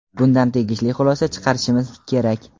bundan tegishli xulosa chiqarishimiz kerak.